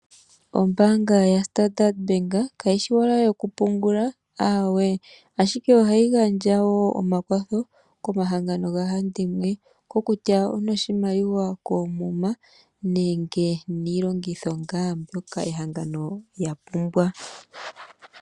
Ombaanga ya Standard Bank, ka yi shi iowala yoku pungula aawe, ashike ohayi gandja wo omakwatho komahangano gahandimwe. Oko kutya onoshimaliwa koomuma, nenge niikongitho ngaa lya pumbwa.